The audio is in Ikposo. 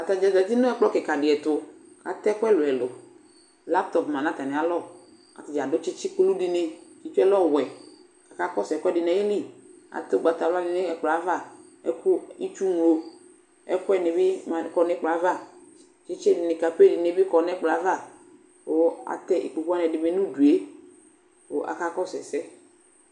Atadza zati nɛkplɔ kika diɛtuKatɛ ɛkʋ ɛlu ɛlu laptɔp ma natamialɔAyadza adʋ tsitsi kulu dini tsitsiɛ lɛ ɔwɛ, kakakɔsu ɛkuɛdi nayiliAtɛ ugbatawla dini nɛkplɔɛvaKʋ itsu ŋlɔ ɛkuɛ nibi kɔ nɛkplɔɛavaTsitsi dini, kape dini bi kɔ nɛkplɔɛavaKʋ atɛ ikpokuwani ɛdini bi nudueKʋ akakɔsu ɛsɛ